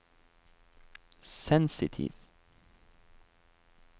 sensitiv